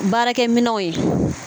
Baarakɛminɛw ye